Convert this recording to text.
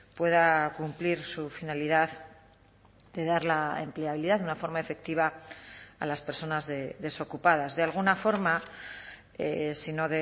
pueda cumplir su finalidad de dar la empleabilidad de una forma efectiva a las personas desocupadas de alguna forma si no